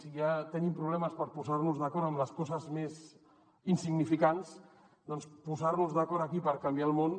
si ja tenim problemes per posar·nos d’acord amb les coses més insignificants doncs posar·nos d’acord aquí per canviar el món